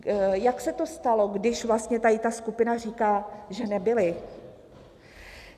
Jak se to stalo, když vlastně tady ta skupina říká, že nebyly.